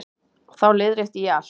Og þá leiðrétti ég allt.